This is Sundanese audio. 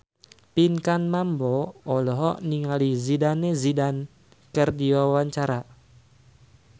Pinkan Mambo olohok ningali Zidane Zidane keur diwawancara